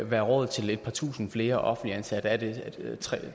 være råd til et par tusinde flere offentligt ansatte det er tre